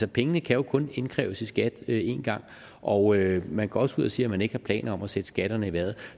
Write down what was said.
pengene kan jo kun indkræves i skat én gang og man går også ud og siger at man ikke har planer om at sætte skatterne i vejret